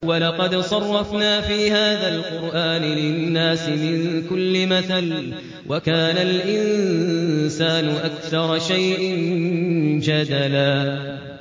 وَلَقَدْ صَرَّفْنَا فِي هَٰذَا الْقُرْآنِ لِلنَّاسِ مِن كُلِّ مَثَلٍ ۚ وَكَانَ الْإِنسَانُ أَكْثَرَ شَيْءٍ جَدَلًا